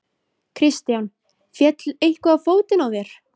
Kristján: Féll eitthvað á fótinn á þér?